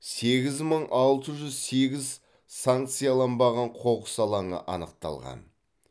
сегіз мың алты жүз сегіз санкцияланбаған қоқыс алаңы анықталған